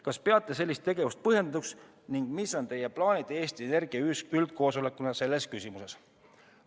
Kas peate sellist tegevust põhjendatuks ning mis on teie plaanid Eesti Energia üldkoosolekuna selles küsimuses?